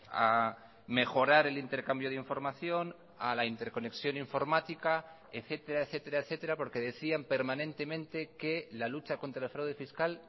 a mejorar el intercambio de información a la interconexión informática etcétera etcétera etcétera porque decían permanentemente que la lucha contra el fraude fiscal